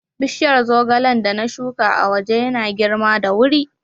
Bishiyar zogalen da na shuka a waje yana girma da wuri.